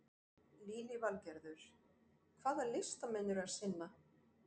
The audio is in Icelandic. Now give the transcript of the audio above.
Lillý Valgerður: Hvaða listamenn eru að sýna?